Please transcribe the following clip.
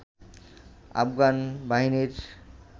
আফগান বাহিনীর